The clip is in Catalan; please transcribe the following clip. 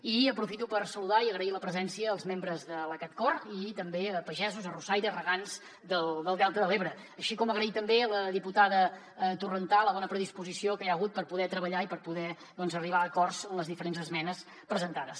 i aprofito per saludar i agrair la presència als membres de l’acatcor i també a pagesos arrossaires regants del delta de l’ebre així com agrair també a la diputada torrentà la bona predisposició que hi ha hagut per poder treballar i per poder doncs arribar a acords en les diferents esmenes presentades